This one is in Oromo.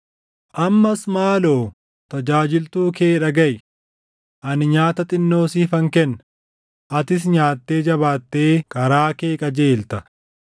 Ammas maaloo tajaajiltuu kee dhagaʼi; ani nyaata xinnoo siifan kenna; atis nyaattee jabaattee karaa kee qajeelta.”